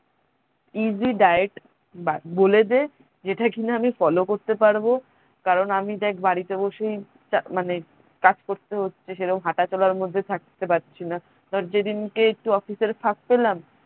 easy diet বলে দে যেটা কিনা আমি follow করতে পারবো কারণ আমি দেখ বাড়িতে বসেই মানে কাজ করতে হচ্ছে সেরম হাটা চলার মধ্যে থাকতে পারছিনা ধর যেদিনকে একটু office এর ফাক পেলাম